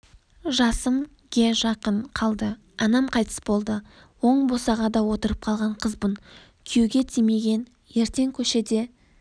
жасым ге жақын қалды анам қайтыс болды оң босағада отырып қалған қызбын күйеуге тимеген ертең көшеде